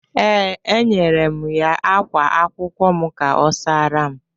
Ee, enyere m ya ákwá akwụkwọ m ka ọ saara m.